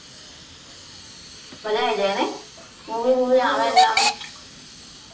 મજા આવી જાય ને movie બુવી આવે એટલે આમ